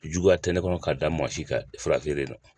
Juguya tɛnɛnkɔnɔ ka da maa si ka fara feere in kan